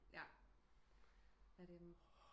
Ja